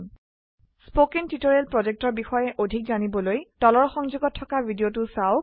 spoken tutorial projectৰ বিষয়ে অধিক জানিবলৈ তলৰ সংযোগত থকা ভিডিঅ চাওক